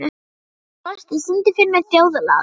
Frosti, syngdu fyrir mig „Þjóðlag“.